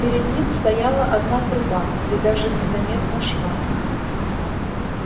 перед ним стояла одна труба и даже не заметно шва